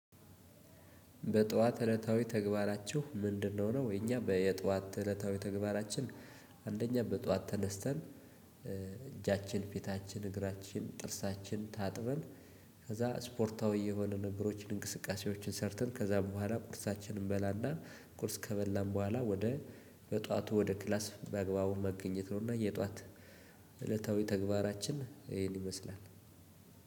በጧት እለታዊ ተግባራችሁ ምንድነው? ነው የኛ በየጧት እለታዊ ተግባራችን አንደኛ በጧት ተነስተን እጃችን ፊታችን እግራችን ጥርሳችን ታጥበን ከዛ ስፖርታዊ የሆኑ ነገሮችን እንቅስቃሴዎችን ሰርተን ከዛ በኋላ ቁርሳችንን እንበላና ቁርስ ከበላን በኋላ ወደ በጧቱ ወደ ክላስ በአግባቡ መገኘት ነው እና የጧት እለታዊ ተግባራችን። ይሄን ይመስላል።